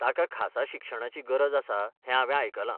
ताका खासा शिक्षणाची गरज आसा हें हांवें आयकलां.